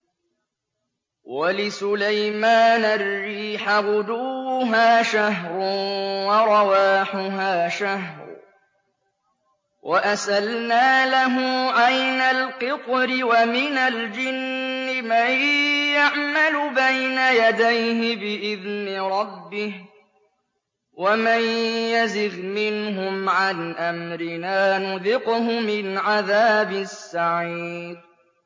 وَلِسُلَيْمَانَ الرِّيحَ غُدُوُّهَا شَهْرٌ وَرَوَاحُهَا شَهْرٌ ۖ وَأَسَلْنَا لَهُ عَيْنَ الْقِطْرِ ۖ وَمِنَ الْجِنِّ مَن يَعْمَلُ بَيْنَ يَدَيْهِ بِإِذْنِ رَبِّهِ ۖ وَمَن يَزِغْ مِنْهُمْ عَنْ أَمْرِنَا نُذِقْهُ مِنْ عَذَابِ السَّعِيرِ